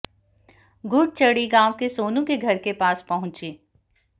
घुड़चढ़ी गांव के सोनू के घर के पास पहुंची